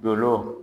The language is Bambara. Dolɔ